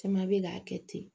Caman bɛ k'a kɛ ten